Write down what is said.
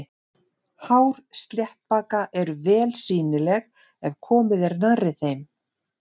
Hár sléttbaka eru vel sýnileg ef komið er nærri þeim.